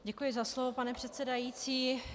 Děkuji za slovo, pane předsedající.